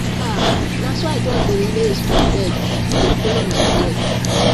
ah na so i just dey laze for bed dey follow my breath